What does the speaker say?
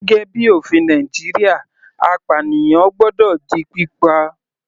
Gẹ́gẹ́ bíi ofin Nàìjíríà apànìyàn gbọ́dọ̀ di pípa.